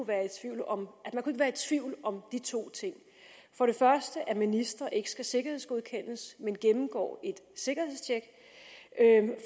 være i tvivl om de to ting for det første at ministre ikke skal sikkerhedsgodkendes men gennemgår et sikkerhedstjek